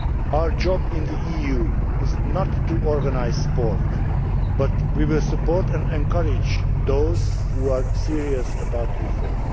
Our job in the EU is not to organise sport, but we will support and encourage those who are serious about reform.